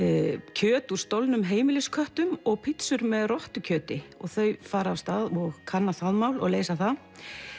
kjöt úr stolnum og pizzur með þau fara af stað og kanna það mál og leysa það